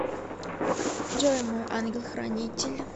джой мой ангел хранитель